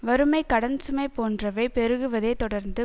வறுமை கடன்சுமை போன்றவை பெருகுவதை தொடர்ந்து